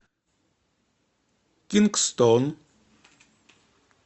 кингстон